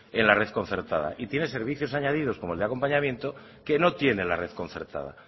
en la red concertada y tienen servicios añadidos como el de acompañamiento que no tiene la red concertada